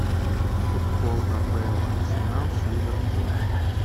футбол апл арсенал с ливерпулем